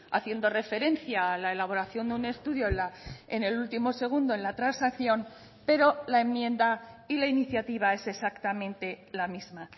haciendo referencia a la elaboración de un estudio en el último segundo en la transacción pero la enmienda y la iniciativa es exactamente la misma